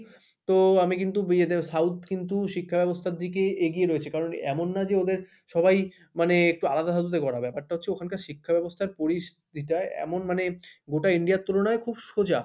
তো আমি কিন্তু ইয়েতে south কিন্তু শিক্ষাব্যবস্থার দিকে এগিয়ে রয়েছি কারণ এমন না যে ওদের সবাই মানে একটু আলাদা ধাতুতে গড়া ব্যাপারটা হচ্ছে ওখানকার শিক্ষা ব্যবস্থার পরিস্থিতিটা এমন মানে গোটা India র তুলনায় খুব সোজা,